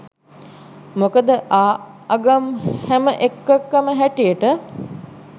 මොකද ආඅගම් හැම එකකම හැටියට